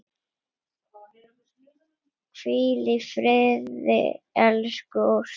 Hvíl í friði elsku Ósk.